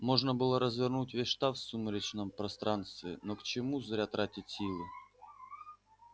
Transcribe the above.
можно было развернуть весь штаб в сумеречном пространстве но к чему зря тратить силы